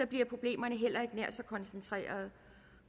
bliver problemerne heller ikke nær så koncentrerede